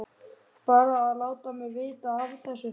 Bara að láta mig vita af þessu.